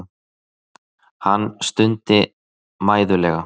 Hann stundi mæðulega.